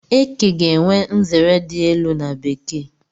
Eke ga-enwe nzere di elu n'bekee